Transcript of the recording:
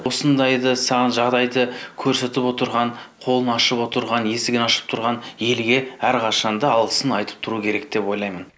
осындайды саған жағдайды көрсетіп отырған қолын ашып отырған есігін ашып тұрған елге әрқашан да алғысын айтып тұру керек деп ойлаймын